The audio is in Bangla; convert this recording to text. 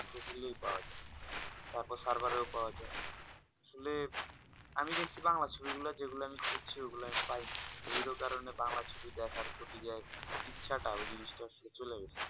খুঁজলেই পাওয়া যাই তরপর server এর পাওয়া যাই আসলে আমি দেখছি বাংলা ছবি গুলা যেইগুলা আমি খুঁজছি ওই গুলা আমি পাই নি ওইটার কারণে আমি বাংলা ছবি দেখার ইচ্ছা টা ওই জিনিসটা চলে গেছে